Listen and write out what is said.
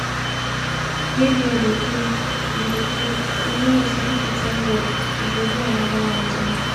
dey there dey play. you dey play. you no know say if you thank god he go do another one join